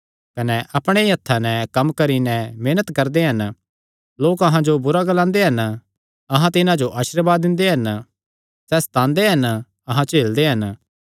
कने अपणे ई हत्थां नैं कम्म करी नैं मेहनत करदे हन लोक अहां जो बुरा ग्लांदे हन अहां तिन्हां जो आशीर्वाद दिंदे हन सैह़ सतांदे हन अहां झेलदे हन